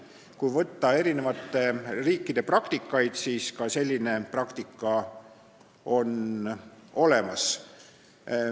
Kui vaadata teiste riikide praktikaid, siis selgub, et ka selline praktika on olemas.